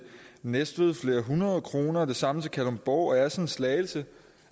næstved med flere hundrede kroner og det samme gælder til kalundborg assens slagelse